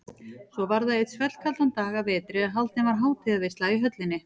Svo var það einn svellkaldan dag að vetri að haldin var hátíðarveisla í höllinni.